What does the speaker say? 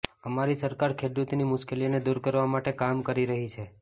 અમારી સરકાર ખેડૂતોની મુશ્કેલીઓને દૂર કરવા માટે કામ કરી રહી છે